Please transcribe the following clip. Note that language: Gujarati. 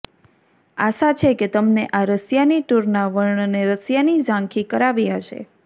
આશા છે કે તમને આ રશિયાની ટૂરના વર્ણને રશિયાની ઝાંખી કરાવી હશે